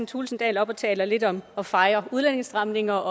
thulesen dahl op og taler lidt om at fejre udlændingestramninger